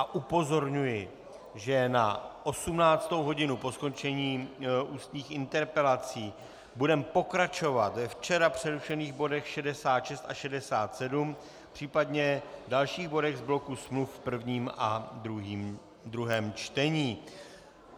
A upozorňuji, že od 18. hodiny po skončení ústních interpelací budeme pokračovat ve včera přerušených bodech 66 a 67, případně dalších bodech z bloku smluv v prvním a druhém čtení.